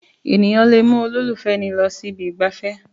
Èèyàn lè mú olólùfẹ́ ẹni lọ sí ibi ìgbafẹ́